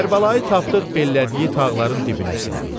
Kərbəlayı Tapdıq bellədiyi tağların dibinə sindi.